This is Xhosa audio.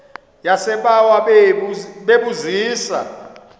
yasebawa bebu zisa